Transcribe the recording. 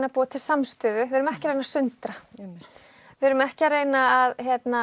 að búa til samstöðu við erum ekki að reyna að sundra við erum ekki að reyna að